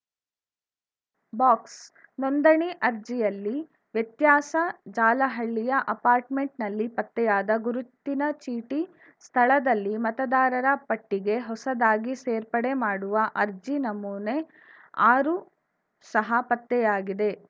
box ನೋಂದಣಿ ಅರ್ಜಿಯಲ್ಲಿ ವ್ಯತ್ಯಾಸ ಜಾಲಹಳ್ಳಿಯ ಅಪಾರ್ಟ್‌ಮೆಂಟ್‌ನಲ್ಲಿ ಪತ್ತೆಯಾದ ಗುರುತಿನ ಚೀಟಿ ಸ್ಥಳದಲ್ಲಿ ಮತದಾರರ ಪಟ್ಟಿಗೆ ಹೊಸದಾಗಿ ಸೇರ್ಪಡೆ ಮಾಡುವ ಅರ್ಜಿ ನಮೂನೆ ಆರು ಸಹ ಪತ್ತೆಯಾಗಿದೆ